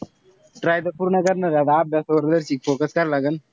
Try त पूर्ण करणारे. आता अभ्यासावरती जास्त focus करावं लागन.